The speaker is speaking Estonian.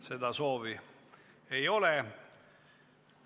Seda soovi ei ole.